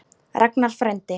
Ragnar frændi.